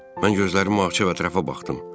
Mən gözlərimi açıb ətrafa baxdım.